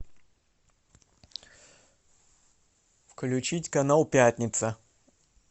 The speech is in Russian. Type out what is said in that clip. включить канал пятница